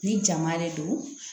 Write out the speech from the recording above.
Ni jama de don